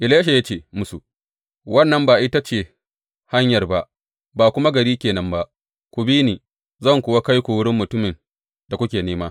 Elisha ya ce musu, Wannan ba ita ce hanyar ba, ba kuma gari ke nan ba, ku bi ni, zan kuwa kai ku wurin mutumin da kuke nema!